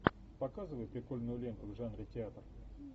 показывай прикольную ленту в жанре театр